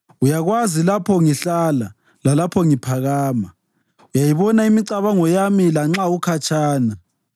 Uyakwazi lapho ngihlala lalapho ngiphakama; uyayibona imicabango yami lanxa ukhatshana.